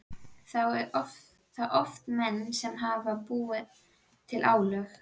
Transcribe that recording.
Þá eru það oft menn sem hafa búið til álögin.